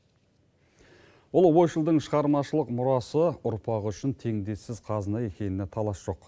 ұлы ойшылдың шығармашылық мұрасы ұрпағы үшін теңдессіз қазына екеніне талас жоқ